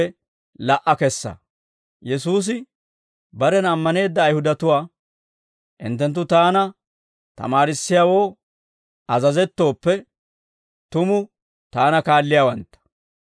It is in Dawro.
Yesuusi barena ammaneedda Ayihudatuwaa, «Hinttenttu Taani tamaarissiyaawoo azazettooppe, tumu Taana kaalliyaawantta.